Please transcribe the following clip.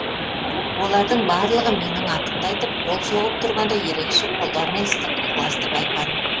олардың барлығы менің атымды айтып қол соғып тұрғанда ерекше қолдаумен ыстық ықыласты байқадым